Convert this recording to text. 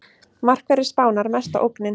Markverðir Spánar mesta ógnin